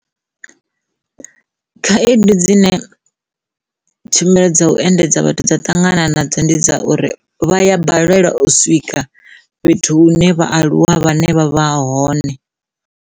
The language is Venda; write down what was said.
Khaedu dzine tshumelo dza u endedza vhathu dza ṱangana nadzo ndi dza uri vha ya balelwa u swika fhethu hune vhaaluwa vhane vha vha hone.